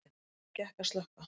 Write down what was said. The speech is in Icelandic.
Greiðlega gekk að slökkva